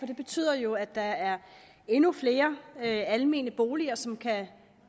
det betyder jo at der er endnu flere almene boliger som kan